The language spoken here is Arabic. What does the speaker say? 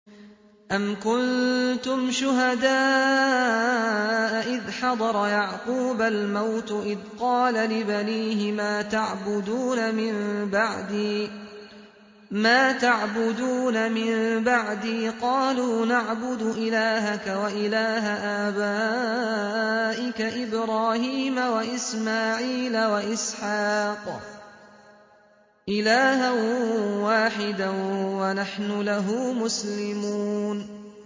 أَمْ كُنتُمْ شُهَدَاءَ إِذْ حَضَرَ يَعْقُوبَ الْمَوْتُ إِذْ قَالَ لِبَنِيهِ مَا تَعْبُدُونَ مِن بَعْدِي قَالُوا نَعْبُدُ إِلَٰهَكَ وَإِلَٰهَ آبَائِكَ إِبْرَاهِيمَ وَإِسْمَاعِيلَ وَإِسْحَاقَ إِلَٰهًا وَاحِدًا وَنَحْنُ لَهُ مُسْلِمُونَ